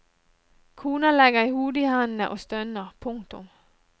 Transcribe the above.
Kona legger hodet i hendene og stønner. punktum